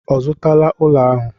Ọ zụtala ụlọ ahụ?